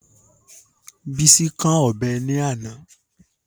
Bísí kán ọ̀bẹ ní àná